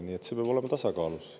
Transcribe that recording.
Kõik peab olema tasakaalus.